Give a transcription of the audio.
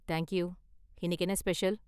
Thank you, இன்னிக்கு என்ன special?